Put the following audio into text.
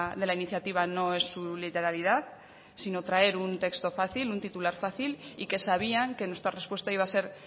de la iniciativa no es su literalidad sino traer un texto fácil un titular fácil y que sabían que nuestra respuesta iba a ser